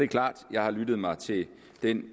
klart at jeg har lyttet mig til den